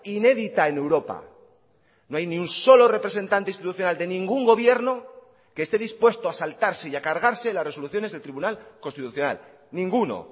inédita en europa no hay ni un solo representante institucional de ningún gobierno que esté dispuesto a saltarse y a cargarse las resoluciones del tribunal constitucional ninguno